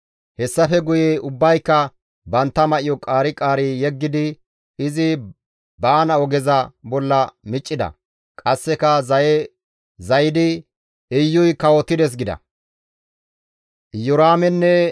Hessafe guye ubbayka bantta may7o qaari qaari yeggidi izi baana ogeza bolla miccida; qasseka zaye zayidi, «Iyuy kawotides» gida.